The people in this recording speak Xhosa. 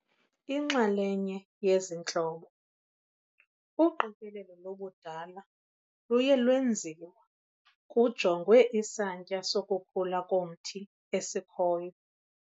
Inxalenye yezi ntlobo, uqikelelo lobudala luye lwenziwa kujongwe isantya sokukhula komthi esikhoyo.